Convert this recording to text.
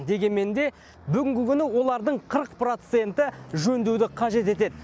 дегенмен де бүгінгі күні олардың қырық проценті жөндеуді қажет етеді